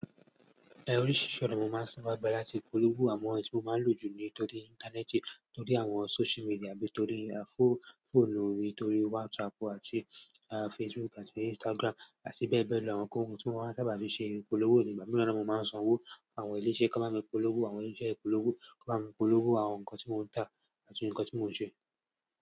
Oríṣiríṣi ọ̀nà ni mo máa ń saa ba gbà láti polówó awọn èyí tí mo máa ń lò jù ni torí Íńtánẹ́ẹ̀tì, torí àwọn social media bí i torí fọ́ọ̀nù mí, torí WhatsApp àti Facebook àti Instagram àti bẹ́ẹ̀ bẹ́ẹ̀ lọ. Àwọn ohun tí mo máa ń sábà fi ṣe polówó ìgbà mìíràn ni mo máa ń sanwó àwọn ilé-iṣẹ́ ká bá mi polówó, àwọn ilé iṣẹ́ polówó kii wọn bá mi polówó àwọn nǹkan tí mò ń tà àti nǹkan tí mò ń ṣe.